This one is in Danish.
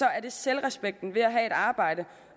er det selvrespekten ved at have et arbejde